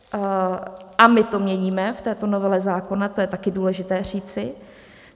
A my to měníme v této novele zákona, to je taky důležité říci.